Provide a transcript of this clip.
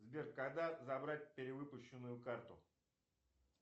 сбер когда забрать перевыпущенную карту